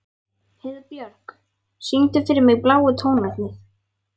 Heiðbjörk, syngdu fyrir mig „Bláu tónarnir“.